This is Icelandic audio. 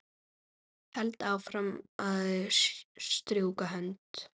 Held áfram að strjúka hönd